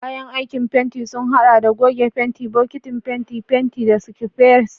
Kayan aikin fenti sun haɗa da goge fenti, bokitin fenti, fenti, da scrapers.